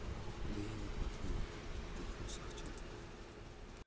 да я не про книги отмахнулся артем